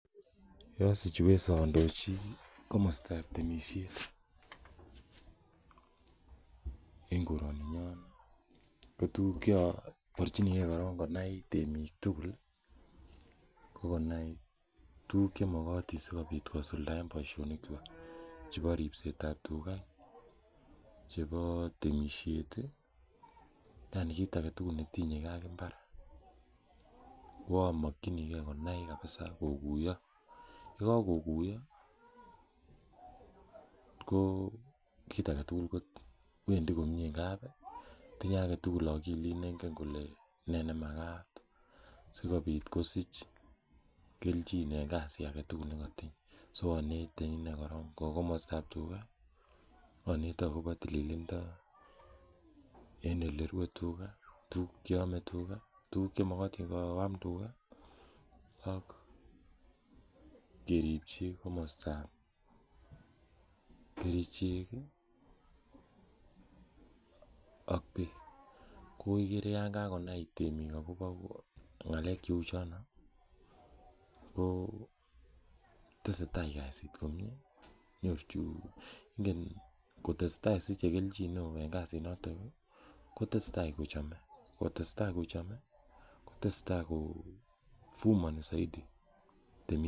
Yosich uwezo andochi komostab temisiet en koroninyon ko tuguk cheobirchinigee korong konai temiik tugul ko konai tuguk chemokotin sikobit kosuldaen boisionik kyik chebo ripset ab tuga chebo temisiet ih yani tuguk alak tugul netinye gee ak mbar koamokyingee konai kabisa kokuiyo yekakokuiyo ko kit aketugul kowendii komie ngap tinye aketugul akilit nengen kole nee nemakat sikobit kosich kelchin en kasit aketugul nekotinye so onete inei korong kou komostab tuga onete akobo tililindo en elerue tuga tuguk cheome tuga tuguk chemokotin koam tuga ak keripchi komostab kerichek ak beek ko ikere yan kakonai temiik akobo ng'alek cheuchono ko tesetai kasit komie nyorchin ingen kotesetai nyorchin kelchin en kasit noton kotesetai kochome kotesetai kochome kotesetai ko vumoni soiti temisiet